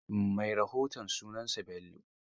Mai rahoton sunansa Bello.